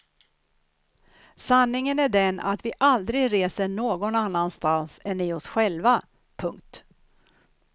Sanningen är den att vi aldrig reser någon annanstans än i oss själva. punkt